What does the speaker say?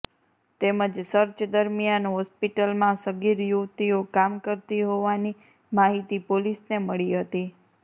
તેમજ સર્ચ દરમિયાન હોસ્પિટલમાં સગીર યુવતીઓ કામ કરતી હોવાની માહિતી પોલીસને મળી હતી